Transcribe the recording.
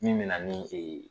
Min bɛ na ni